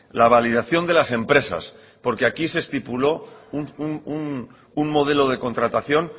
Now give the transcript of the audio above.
la validación de las empresas porque aquí se estipuló un modelo de contratación